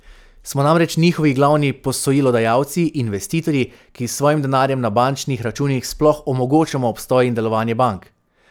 Smo namreč njihovi glavni posojilodajalci, investitorji, ki s svojim denarjem na bančnih računih sploh omogočamo obstoj in delovanje bank.